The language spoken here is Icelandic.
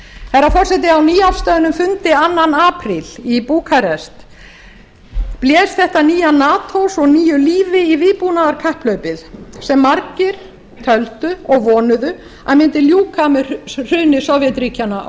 herra forseti á nýafstöðnum fundi annan apríl í búkarest blés þetta nýja nato svo nýju lífi í vígbúnaðarkapphlaupið sem margir töldu og vonuðu að mundi ljúka með hruni sovétríkjanna á